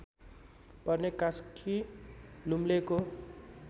पर्ने कास्की लुम्लेको